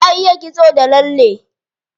Ta iya kitso da lalle.